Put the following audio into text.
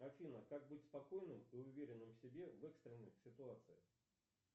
афина как быть спокойным и уверенным в себе в экстренных ситуациях